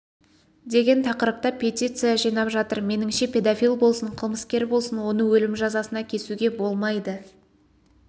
деген тақырыпта петиция жинап жатыр меніңше педофил болсын қылмыскер болсын оны өлім жазасына кесуге болмайды